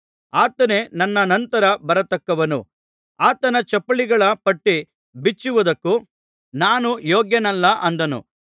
ಆತನೇ ನನ್ನ ನಂತರ ಬರತಕ್ಕವನು ಆತನ ಚಪ್ಪಲಿಗಳ ಪಟ್ಟಿ ಬಿಚ್ಚುವುದಕ್ಕೂ ನಾನು ಯೋಗ್ಯನಲ್ಲ ಅಂದನು